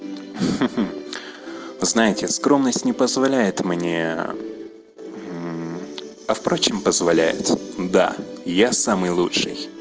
знаете скромность не позволяет мне а впрочем позволяет да я самый лучший